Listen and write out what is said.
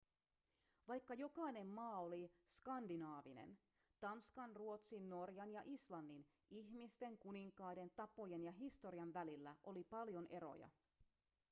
vaikka jokainen maa oli skandinaavinen tanskan ruotsin norjan ja islannin ihmisten kuninkaiden tapojen ja historian välillä oli paljon eroja